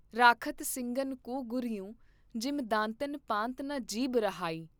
ਰਾਖਤ ਸਿੰਘਨ ਕੋ ਗੁਰ ਯੰ ਜਿਮ ਦਾਂਤਨ ਪਾਂਤ ਨ ਜੀਭ ਰਹਾਈ।